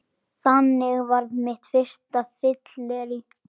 Þannig varð mitt fyrsta fyllerí